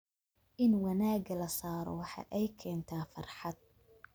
In wanaaga la saaro waxa ay keentaa farxad.